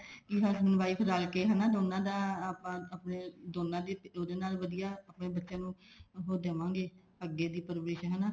ਕੇ husband wife ਰਲ ਕੇ ਹਨਾ ਦੋਨਾ ਦੀ ਉਹਦੇ ਨਾਲ ਵਧੀਆ ਆਪਣੇ ਬੱਚਿਆਂ ਨੂੰ ਉਹ ਦੇਵਾਂਗੇ ਅੱਗੇ ਦੀ ਪਰਵਰਿਸ਼ ਹਨਾ